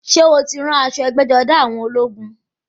Ṣé o ti rí aṣọ ẹgbẹ́-jọdá àwọn ológun?